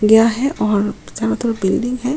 लिया है और बिल्डिंग है।